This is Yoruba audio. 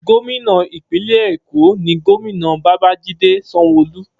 Gómìnà ìpínlẹ̀ Èkó ní Gómìnà Babajide Sanwoolu.